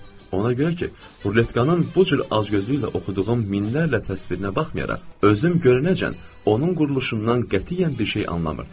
Ona görə ki, ruletkanın bu cür acgözlüklə oxuduğum minlərlə təsvirinə baxmayaraq, özüm görünəcən onun quruluşundan qətiyyən bir şey anlamırdım.